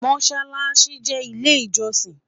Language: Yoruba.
mosálási jé ilé ijosin